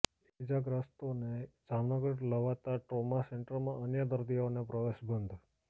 ઇજાગ્રસ્તોને જામનગર લવાતા ટ્રોમા સેન્ટરમાં અન્ય દર્દીઓને પ્રવેશબંધી